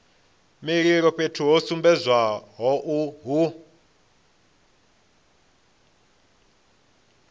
mililo fhethu ho sumbedzwaho hu